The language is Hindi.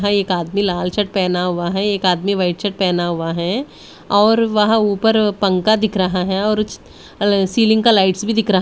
एक आदमी लाल शर्ट पहना हुआ है एक आदमी वाइट शर्ट पहना हुआ है और वहां ऊपर पंखा दिख रहा है और उस सीलिंग का लाइट्स भी दिख रहा है--